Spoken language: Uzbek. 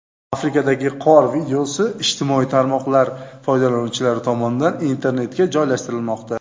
Afrikadagi qor videosi ijtimoiy tarmoqlar foydalanuvchilari tomonidan internetga joylashtirilmoqda.